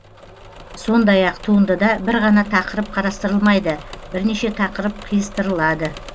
сондай ақ туындыда бір ғана тақырып қарастырылмайды бірнеше тақырып қиыстырылады